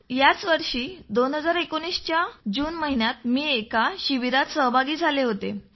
याच वर्षी म्हणजे 2019 च्या जून महिन्यात मी एका शिबिरात सहभागी झालो होतो